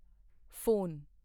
phone